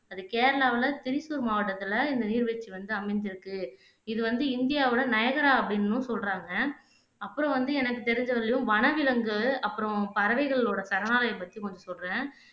அது கேரளாவுல திரிசூல் மாவட்டத்துல இந்த நீர்வீழ்ச்சி வந்து அமஞ்சிருக்கு இது வந்து இந்தியாவோட நையகரா அப்படின்னும் சொல்லுறாங்க அப்பறம் வந்து எனக்கு தெரிஞ்ச வரையிலும் வனவிலங்கு அப்பறம் பறவைகளோட சரணாலயம் பத்தி மட்டும் சொல்லுறேன்